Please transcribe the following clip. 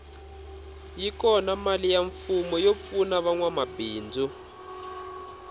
yi kona mali ya mfumo yo pfuna vanwa mabindzu